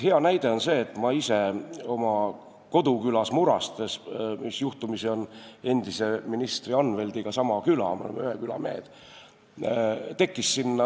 Hea näide on minu koduküla Muraste, mis juhtumisi on ka endise ministri Anvelti koduküla, me oleme ühe küla mehed.